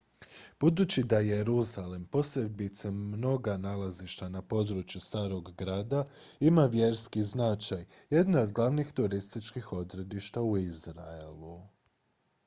budući da jeruzalem posebice mnoga nalazišta na području starog grada ima vjerski značaj jedno je od glavnih turističkih odredišta u izraelu